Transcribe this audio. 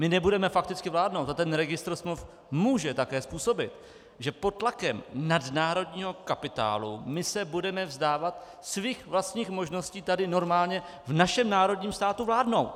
My nebudeme fakticky vládnout a ten registr smluv může také způsobit, že pod tlakem nadnárodního kapitálu my se budeme vzdávat svých vlastních možností tady normálně v našem národním státu vládnout.